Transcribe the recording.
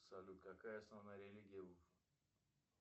салют какая основная религия в